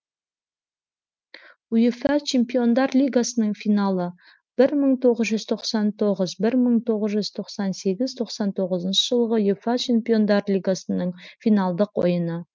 уефа чемпиондар лигасының финалы бір мың тоғыз жүз тоқсан тоғыз бір мың тоғыз жүз тоқсан сегіз тоқсан тоғызыншы жылғы уефа чемпиондар лигасының финалдық ойыны